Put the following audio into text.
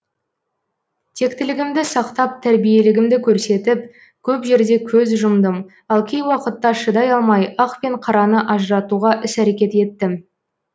тектілігімді сақтап тәрбиелігімді көрсетіп көп жерде көз жұмдым ал кей уақытта шыдай алмай ақ пен қараны ажыратуға іс әрекет еттім